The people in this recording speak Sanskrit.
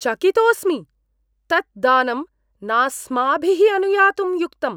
चकितोऽस्मि! तत् दानं नास्माभिः अनुयातुं युक्तम्।